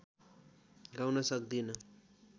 गाउन सक्दिन